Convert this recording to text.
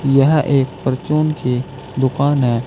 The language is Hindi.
यह एक परचून की दुकान है